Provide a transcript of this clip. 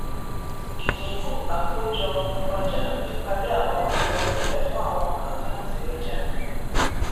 ìdínkù àkójọ ọjà píparí àwọn àkọsílẹ fún àwọn àkáǹtì ọjà